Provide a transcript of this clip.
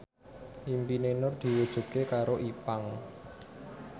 impine Nur diwujudke karo Ipank